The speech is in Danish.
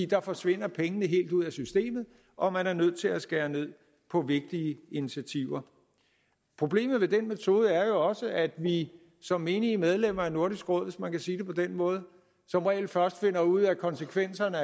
der forsvinder pengene helt ud af systemet og man er nødt til at skære ned på vigtige initiativer problemet med den metode er jo også at vi som menige medlemmer af nordisk råd hvis man kan sige det på den måde som regel først finder ud af konsekvenserne